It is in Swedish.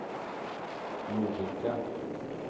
Lovikka